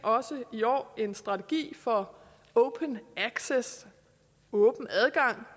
i år også en strategi for open access åben adgang